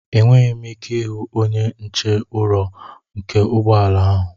Enweghị m ike ịhụ onye nche ụrọ nke ụgbọ ala ahụ.